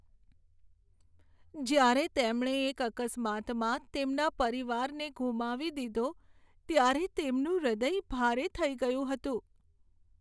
જ્યારે તેમણે એક અકસ્માતમાં તેમના પરિવારને ગુમાવી દીધો ત્યારે તેમનું હૃદય ભારે થઈ ગયું હતું.